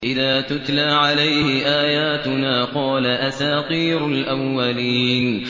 إِذَا تُتْلَىٰ عَلَيْهِ آيَاتُنَا قَالَ أَسَاطِيرُ الْأَوَّلِينَ